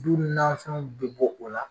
Don dɔw nanfɛnw be bɔ o la